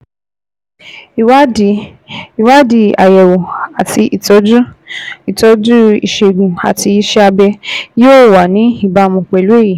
Ìwádìí Ìwádìí àyẹ̀wò àti ìtọ́jú (ìtọ́jú ìṣègùn àti iṣẹ́ abẹ) yóò wà ní ìbámu pẹ̀lú èyí